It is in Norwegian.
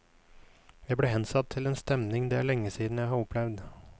Jeg ble hensatt til en stemning det er lenge siden jeg har opplevd.